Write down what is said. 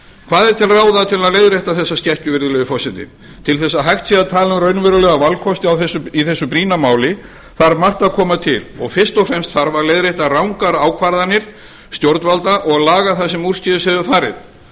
hvað er til ráða til að leiðrétta þessa skekkju virðulegi forseti til þess að hægt sé að tala um raunverulega valkosti í þessu brýna máli þarf margt að koma til og fyrst og fremst þarf að leiðrétta rangar ákvarðanir stjórnvalda og laga það sem úrskeiðis hefur farið